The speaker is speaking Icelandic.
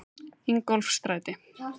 Ingólfsstræti